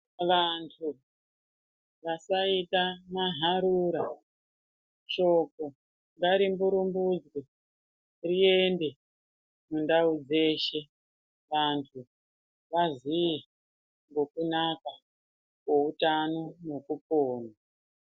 Vanthu vasita maharura, shoko ngarimburumbuke riende kundau dzeshe, vanthu vaziye ngekunaka kweutano nekupona.